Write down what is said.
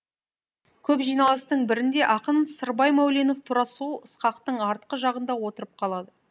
көп жиналыстың бірінде ақын сырбай мәуленов тура сол ысқақтың артқы жағында отырып қалады